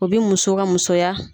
O bɛ muso ka musoya.